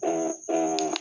o o